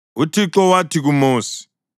UThixo wathi kuMosi,